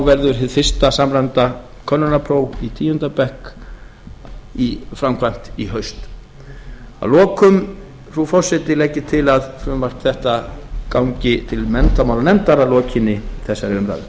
verður hið fyrsta samræmda könnunarpróf í tíunda bekk framkvæmt í haust að lokum frú forseti legg ég til að frumvarp þetta gangi til menntamálanefndar að lokinni þessari umræðu